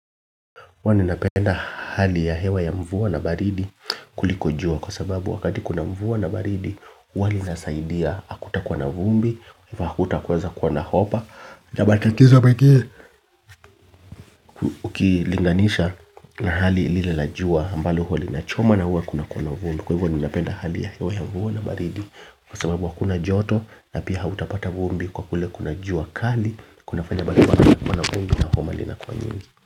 Huwa ninapenda hali ya hewa ya mvua n baridi kuliko jua kwa sababu wakati kuna mvua na baridi huwa linasaidia hakutakuwa kwa hivyo hakutaweza kuwa na homa na matatizo mengine ukilinganisha na hali lile la jua ambalo hauwa linachomwa na huwa kunakua na vumbi. Kwa hivyo ninapenda hali ya hewa ya mvua na baridi kwa sababu hakuna joto na pia hautapata vumbi kwa kule kuna jua kali kunafanya bali wana vumbi na homa linakuwa nyingi.